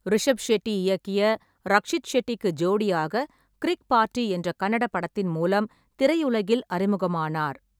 ரிஷாப் ஷெட்டி இயக்கிய ரக்ஷித் ஷெட்டிக்கு ஜோடியாக கிரிக் பார்ட்டி என்ற கன்னட படத்தின் மூலம் திரையுலகில் அறிமுகமானார்.